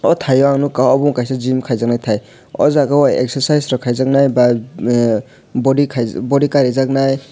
o tai o ang nogka abo ongka gym kaijaknai tai o jaga o exercise rok kaijak nai bai bodykai body kari jak nai.